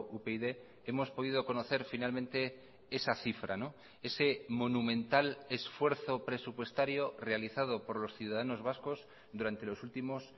upyd hemos podido conocer finalmente esa cifra ese monumental esfuerzo presupuestario realizado por los ciudadanos vascos durante los últimos